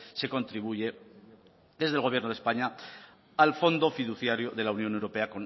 se contribuye desde el gobierno de españa al fondo fiduciario de la unión europea